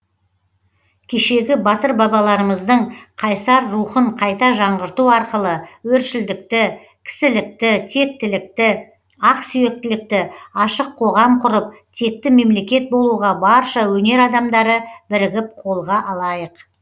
кешегі батыр бабаларымыздың қайсар рухын қайта жаңғырту арқылы өршілдікті кісілікті тектілікті ақсүйектілікті ашық қоғам құрып текті мемлекет болуға барша өнер адамдары бірігіп қолға алайық